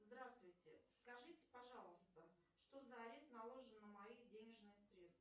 здравствуйте скажите пожалуйста что за арест наложен на мои денежные средства